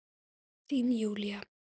Þín Júlí.